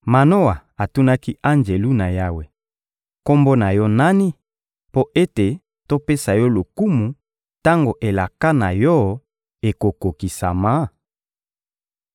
Manoa atunaki Anjelu na Yawe: — Kombo na yo nani mpo ete topesa yo lokumu tango elaka na yo ekokokisama?